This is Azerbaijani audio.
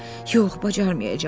Yox, bacarmayacağam.